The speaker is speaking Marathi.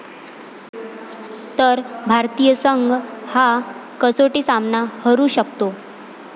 ...तर भारतीय संघ हा कसोटी सामना हरू शकतो